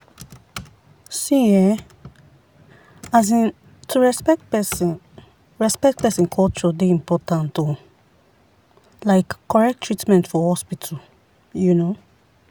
see[um][um] to respect person respect person culture dey important um like correct treatment for hospital. um